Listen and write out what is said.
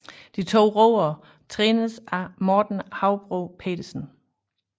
De to roere trænes af Morten Haubro Petersen